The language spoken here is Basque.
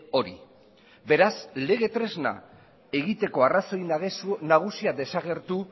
hori beraz lege tresna egiteko arrazoi nagusia desagertu